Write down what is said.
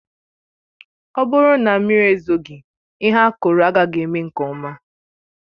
Ọ bụrụ na mmiri ezoghị, ihe akụrụ agaghị eme nke ọma